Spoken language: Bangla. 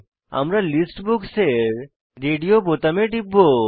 আমরা লিস্ট বুকস এর রেডিও বোতামে টিপব